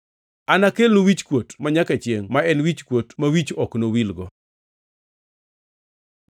Anakelnu wichkuot manyaka chiengʼ ma en wichkuot ma wich ok nowilgo.”